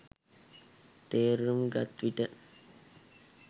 තේරුම්ගත්විට